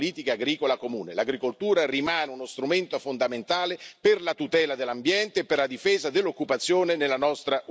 L'agricoltura rimane uno strumento fondamentale per la tutela dell'ambiente e per la difesa dell'occupazione nella nostra Unione europea.